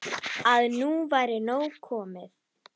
Að nú væri komið nóg.